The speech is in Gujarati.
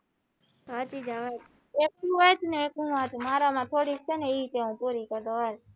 હા તે જવાદે એક તું વાંચ એક હું વાંચું મારા માં થોડી એ હુ પૂરી કરી દવ હાલ